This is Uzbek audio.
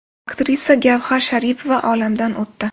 Aktrisa Gavhar Sharipova olamdan o‘tdi.